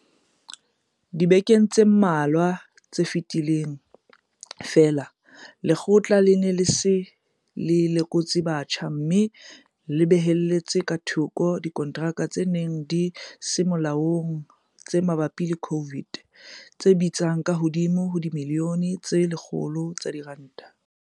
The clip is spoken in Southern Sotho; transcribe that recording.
Dibekeng tse mmalwa tse fetileng feela, Lekgotlana lena le se le lekotse botjha mme la behella ka thoko dikonteraka tse neng di se molaong tse mabapi le COVID tse bitsang ka hodimo ho dimilione tse 100 tsa diranta.